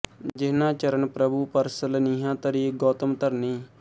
ਜਿਹਨਾਂ ਚਰਨ ਪ੍ਰਭੂ ਪਰਸ ਲਨਿਹਾਂ ਤਰੀ ਗੌਤਮ ਧਰਨੀ